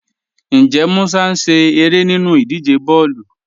Ǹjẹ́ Mùsà ń ṣẹ̀ ẹ̀rẹ́ nínú ìdíjẹ̀ bọ̀ọ̀lu?